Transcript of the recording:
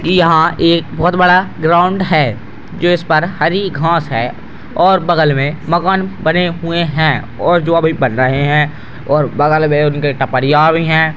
इ यहाँ एक बहोत बड़ा ग्राउंड है जो इस पर हरि घास है और बगल में मकान बने हुए हैं और जो अभी बन रहें हैं और बगल में उनके टपररिया भी हैं।